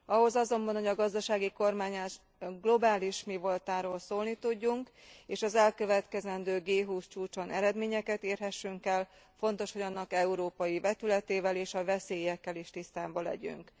Ahhoz azonban, hogy a gazdasági kormányzás globális mivoltáról szólni tudjunk, és az elkövetkezendő G20 csúcson eredményeket érhessünk el, fontos, hogy annak európai vetületével és a veszélyekkel is tisztában legyünk.